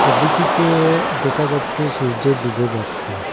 ছবিটিতে দেখা যাচ্ছে সূর্য ডুবে যাচ্ছে।